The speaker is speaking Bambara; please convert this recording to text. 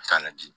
Ka na di